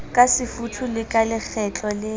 kasefuthu le ka lekgetlo le